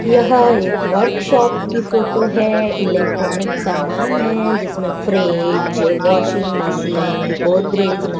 यह एक वर्कशॉप की फोटो है इलेक्ट्रॉनिक सामान है जिसमें फ्रिज वाशिंग मशीन गोदरेज --